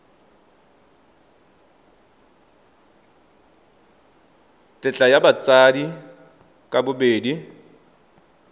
tetla ya batsadi ka bobedi